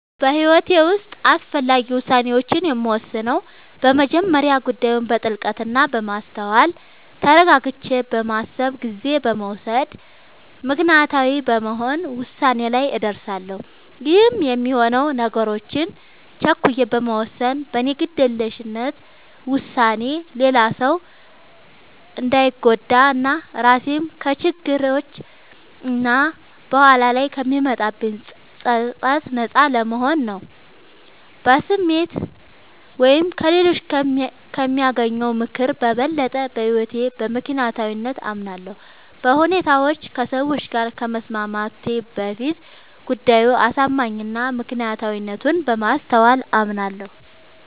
በህይወቴ ዉስጥ አስፈላጊ ዉሳኔዎችን የምወስነው በመጀመሪያ ጉዳዩን በጥልቀት እና በማስተዋል ተረጋግቼ በማሰብ ጊዜ በመዉሰድ ምክንያታዊ በመሆን ዉሳኔ ላይ እደርሳለሁ ይህም የሚሆነው ነገሮችን ቸኩዬ በመወሰን በኔ ግዴለሽነት ዉሳኔ ሌላ ሰዉ እንዳንጎዳ እና ራሴንም ከችግሮች እና በኋላ ላይ ከሚመጣብኝ ፀፀት ነጻ ለመሆን ነዉ። በስሜት ወይም ከሌሎች ከሚያገኘው ምክር በበለጠ በህይወቴ በምክንያታዊነት አምናለሁ፤ በሁኔታዎች ከሰዎች ጋር ከመስማማቴ በፊት ጉዳዩ አሳማኝ እና ምክንያታዊነቱን በማስተዋል አምናለሁ።